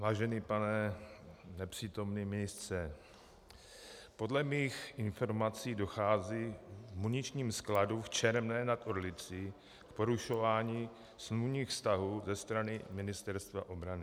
Vážený pane nepřítomný ministře, podle mých informací dochází v muničním skladu v Čermné nad Orlicí k porušování smluvních vztahů ze strany Ministerstva obrany.